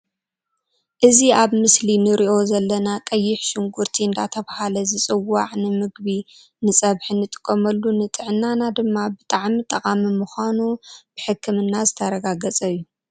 እዚ ኣብ ምስሊ ንርኦ ዘለና ቀይሕ ሽጉርቲ እንዳተባሃለ ዝፅዋዕ ንምግቢ ንፀብሒ ንጥቀመሉ ንጥዕናና ድማ ብጣዕሚ ጠቃሚ ምኳኑ ብሕክምና ዝተረጋገፀ እዩ።